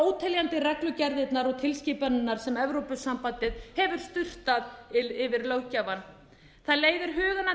óteljandi reglugerðirnar og tilskipanirnar sem evrópusambandið hefur sturtað yfir löggjafann það leiðir hugann að því